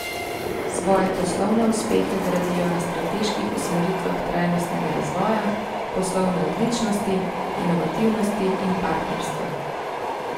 Svoje poslovne uspehe gradijo na strateških usmeritvah trajnostnega razvoja, poslovne odličnosti, inovativnosti in partnerstva.